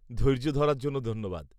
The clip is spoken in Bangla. -ধৈর্য ধরার জন্য ধন্যবাদ।